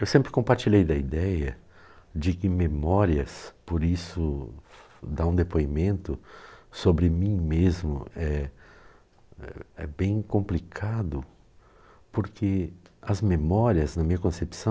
Eu sempre compartilhei da ideia de que memórias, por isso, dar um depoimento sobre mim mesmo é é é bem complicado, porque as memórias, na minha concepção,